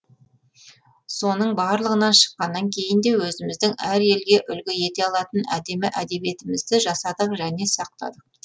соның барлығынан шыққаннан кейін де өзіміздің әр елге үлгі ете алатын әдемі әдебиетімізді жасадық және сақтадық